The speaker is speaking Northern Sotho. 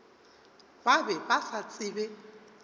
ba be ba sa tsebe